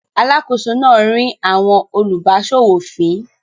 Alákòóso náà rín àwọn olùbáṣòwò fín.